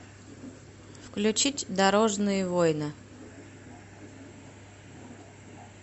включить дорожные войны